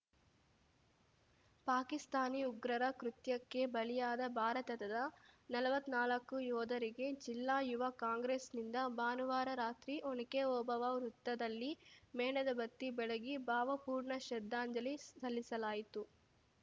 ಪಾಕಿಸ್ತಾನಿ ಉಗ್ರರ ಕೃತ್ಯಕ್ಕೆ ಬಲಿಯಾದ ಭಾರತದ ನಲ್ವತ್ನಾಲ್ಕು ಯೋಧರಿಗೆ ಜಿಲ್ಲಾ ಯುವ ಕಾಂಗ್ರೆಸ್‌ನಿಂದ ಭಾನುವಾರ ರಾತ್ರಿ ಒನಕ್ಕೆ ಒಬವ್ವ ವೃತ್ತದಲ್ಲಿ ಮೇಣದ ಬತ್ತಿ ಬೆಳಗಿ ಭಾವಪೂರ್ಣ ಶ್ರದ್ಧಾಂಜಲಿ ಸಲ್ಲಿಸಲಾಯಿತು